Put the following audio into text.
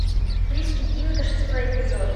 фриски динго шестой эпизод